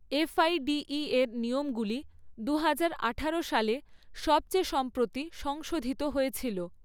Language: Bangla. এফআইডিই এর নিয়মগুলি দু হাজার আঠারো সালে সবচেয়ে সম্প্রতি সংশোধিত হয়েছিল।